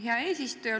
Hea eesistuja!